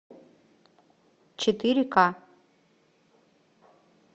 четыре ка